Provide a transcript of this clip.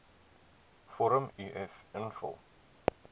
vorm uf invul